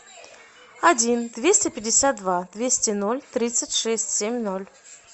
один двести пятьдесят два двести ноль тридцать шесть семь ноль